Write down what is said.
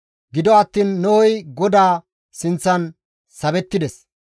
Gido attiin Nohey GODAA sinththan sabettides.